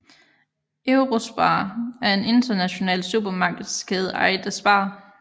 Eurospar er en international supermarkedskæde ejet af SPAR